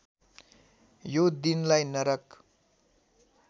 यो दिनलाई नरक